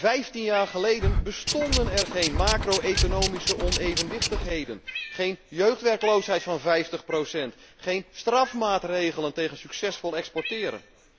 Vijftien jaar geleden bestonden er geen macro economische onevenwichtigheden, geen jeugdwerkloosheid van vijftig procent, geen strafmaatregelen tegen succesvol exporteren.